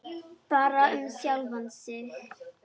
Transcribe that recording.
Bara um sjálfan sig.